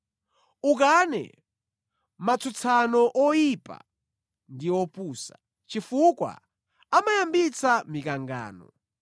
Ukane matsutsano oyipa ndi opusa, chifukwa amayambitsa mikangano.